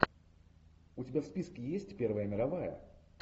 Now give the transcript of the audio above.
у тебя в списке есть первая мировая